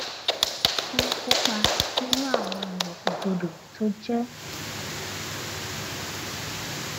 wón ń kópa nínú àwọn ìgbòkègbodò tó jẹ